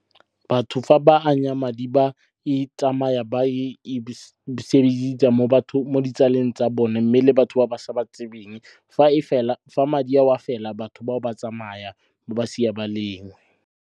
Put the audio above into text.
Batho fa ba anya madi ba e tsamaya ba e sebedisa mo ditsaleng tsa bone mme le batho ba ba sa ba tsebeng. Fa madi ao fela, batho bao ba tsamaya ba ba siya ba le nngwe.